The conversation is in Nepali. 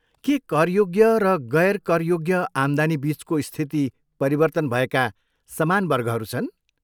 के करयोग्य र गैर करयोग्य आम्दानीबिचको स्थिति परिवर्तन भएका समान वर्गहरू छन्?